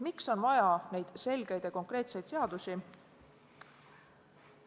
Miks on vaja neid selgeid ja konkreetseid seadusi?